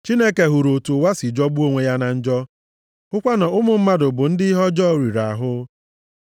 Chineke hụrụ otu ụwa si jọgbuo onwe ya na njọ, hụkwa na ụmụ mmadụ bụ ndị ihe ọjọọ riri ahụ.